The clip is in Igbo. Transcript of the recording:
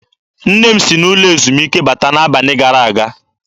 Nne m si n'ụlọ ezumike lọta n'abalị gara aga.